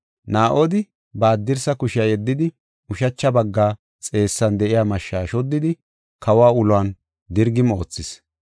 Naa7odi ba haddirsa kushiya yeddidi, ushacha bagga xeessan de7iya mashsha shoddidi, kawa uluwan dirgim oothis.